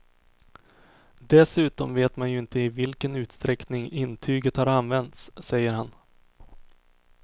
Dessutom vet man ju inte i vilken utsträckning intyget har använts, säger han.